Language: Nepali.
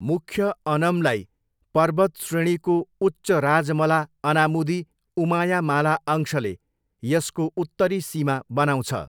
मुख्य अनमलाई पर्वतश्रेणीको उच्च राजमला अनामुदी उमायामाला अंशले यसको उत्तरी सीमा बनाउँछ।